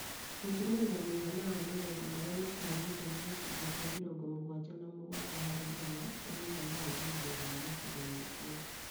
Gũturanira mũigana wa magetha marĩa matanyĩtwo nĩ gĩcunjĩ kĩa mĩrongo mũgwanja na mũgwanja hari igana kĩa mũigana wa ihinda iraya gĩcigo-inĩ kĩu